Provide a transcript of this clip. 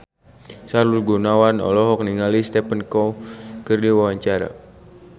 Sahrul Gunawan olohok ningali Stephen Chow keur diwawancara